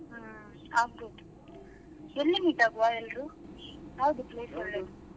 ಹ್ಮ್ ಆಗಬೋದು ಎಲ್ಲಿ meet ಆಗ್ವ ಎಲ್ಲರೂ ಯಾವ್ದು place ಒಳ್ಳೇದು?